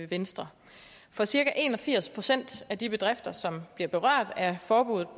venstre for cirka en og firs procent af de bedrifter som bliver berørt af forbuddet